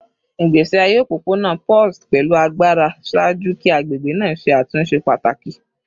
Igbesi aye opopona pulsed pẹlu agbara ṣaaju ki agbegbe naa ṣe atunṣe pataki